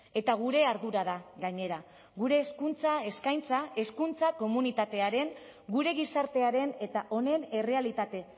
eta gure ardura da gainera gure hezkuntza eskaintza hezkuntza komunitatearen gure gizartearen eta honen errealitate